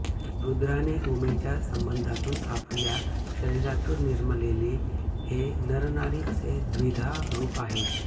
रुद्राने उमेच्या संबंधामधून आपल्या शरीरातून निर्मिलेले हे नरनारी असे द्विधा रूप आहे